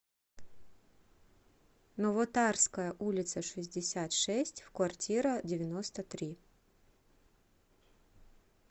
новотарская улица шестьдесят шесть в квартира девяносто три